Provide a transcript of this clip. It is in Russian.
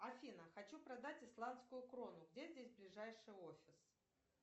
афина хочу продать исландскую крону где здесь ближайший офис